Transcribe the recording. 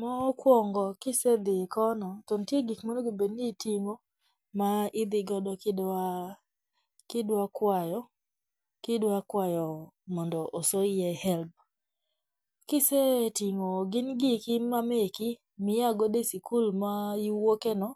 Mokwongo kisedhi kono to nitie gik monego bed ni iting'o ma idhigodo kidwa kidwa kwayo kidwa kwayo mondo osoyie HELB. Kiseting'o gin giki ma meki mia godo e sikul ma iwuoke no